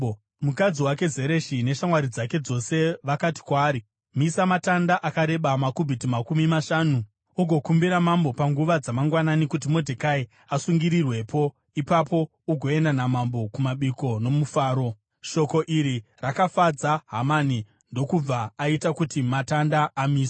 Mukadzi wake Zereshi neshamwari dzake dzose vakati kwaari, “Misa matanda akareba makubhiti makumi mashanu , ugokumbira mambo panguva dzamangwanani kuti Modhekai asungirirwepo. Ipapo ugoenda namambo kumabiko nomufaro.” Shoko iri rakafadza Hamani, ndokubva aita kuti matanda amiswe.